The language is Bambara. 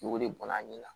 N'o de bɔnna a ɲɛ la